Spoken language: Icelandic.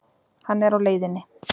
Hann er á leiðinni.